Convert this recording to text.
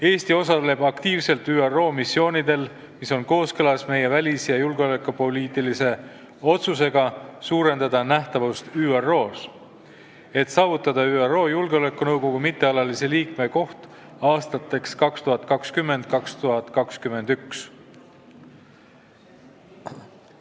Eesti osaleb aktiivselt ÜRO missioonidel, mis on kooskõlas meie välis- ja julgeolekupoliitilise otsusega suurendada nähtavust ÜRO-s, et saavutada ÜRO Julgeolekunõukogu mittealalise liikme koht aastateks 2020 ja 2021.